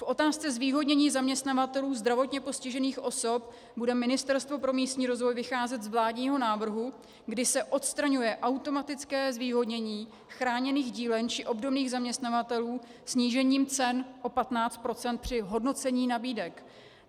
V otázce zvýhodnění zaměstnavatelů zdravotně postižených osob bude Ministerstvo pro místní rozvoj vycházet z vládního návrhu, kdy se odstraňuje automatické zvýhodnění chráněných dílen či obdobných zaměstnavatelů snížením cen o 15 % při hodnocení nabídek.